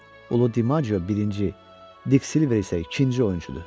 Ulu DiMağio birinci, Dik Silver isə ikinci oyunçudur.